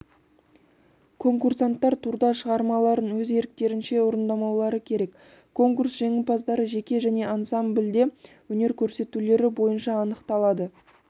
конкурсанттар турда шығармаларын өз еріктерінше орындаулары керек конкурс жеңімпаздары жеке және ансамбльде өнер көрсетулері бойынша анықталады